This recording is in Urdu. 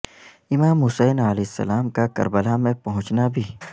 امام حسین علیہ السلام کا کربلا میں پہنچنا بھی